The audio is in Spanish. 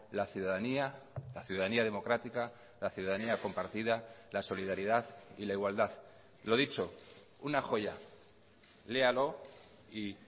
la ciudadanía la ciudadanía democrática la ciudadanía compartida la solidaridad y la igualdad lo dicho una joya léalo y